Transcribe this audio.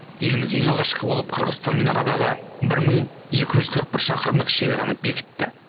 еліміз ең алғашқы болып қырғызстанмен арадағы бір мың екі жүз қырық бір шақырымдық шекараны бекітті